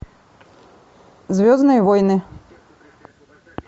звездные войны